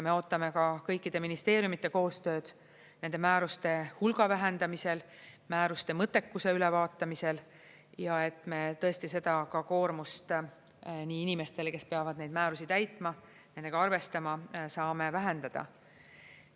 Me ootame ka kõikide ministeeriumide koostööd nende määruste hulga vähendamisel ja määruste mõttekuse ülevaatamisel, et me tõesti seda koormust inimestele, kes peavad neid määrusi täitma, nendega arvestama, saame vähendada.